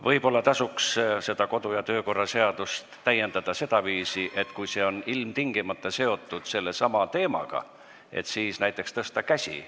Võib-olla tasuks kodu- ja töökorra seadust täiendada sedaviisi, et kui küsimus on seotud sellesama teemaga, siis tuleks näiteks tõsta käsi.